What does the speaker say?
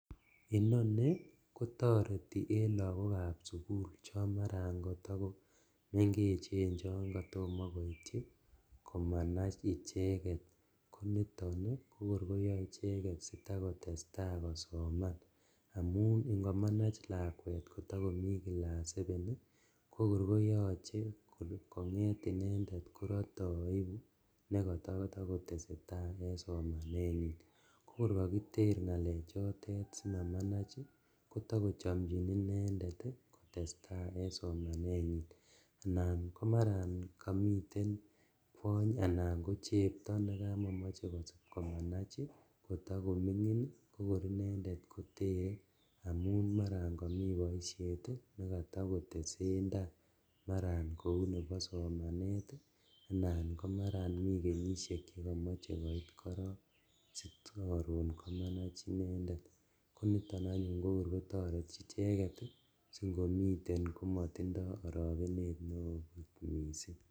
Inoni kotareti en lagokab sugul chomara kotakomengechen chon katoma koityi komanach ichek. Ko niton ko kor koyae icheget sitakotesta kosoman amun ingomanach lakwet kotakomi kilas sepen ko kor koyache konget inendet korate aipu nekatatakoteseta en somanenyin. Ko korkakiter ngalechotet simamach, kotakochamjin inendet kotesta en somanenyin anan ko marakamiten kwony anan ko chepto nekamakomoche komanach kotakomingin kokor inendet kotere amun mara komi boisiet nekatakitesen nda. Maraat kou nebo somanet anan ko maraat komi kenyisiek che kemoche koit korok sikarun komanach inendet. Koniton anyun kokor kotareti icheget, singomiten komatindo aragenet neo mising.